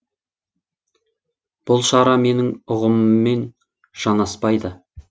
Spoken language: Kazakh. бұл шара менің ұғымыммен жанаспайды